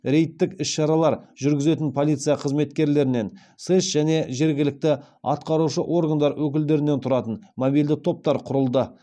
рейдтік іс шаралар жүргізетін полиция қызметкерлерінен сэс және жергілікті атқарушы органдар өкілдерінен тұратын мобильді топтар құрылды